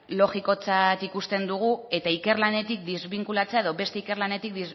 logikotzat ikusten dugu eta ikerlanetik desbinkulatzea edo beste ikerlanetik